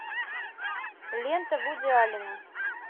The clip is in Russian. лента вуди аллена